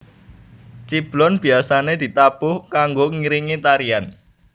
Ciblon biasane ditabuh kanggo ngiringi tarian